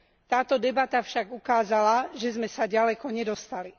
Táto debata však ukázala, že sme sa ďaleko nedostali.